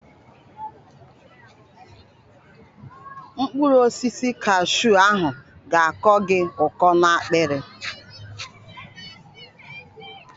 Mkpụrụ osisi kashu ahụ ga-akọ gị ụkọ na-akpịrị.